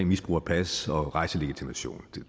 misbrug af pas og rejselegitimation